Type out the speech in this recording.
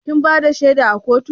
Kin bada shaida a kotu?